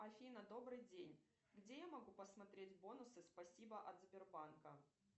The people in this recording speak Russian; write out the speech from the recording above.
афина добрый день где я могу посмотреть бонусы спасибо от сбербанка